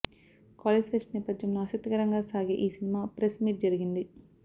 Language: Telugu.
కాలేజ్ ఫెస్ట్ నేపథ్యంలో ఆసక్తికరంగా సాగే ఈ సినిమా ప్రెస్ మీట్ జరిగింది